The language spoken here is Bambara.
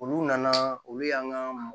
Olu nana olu y'an ka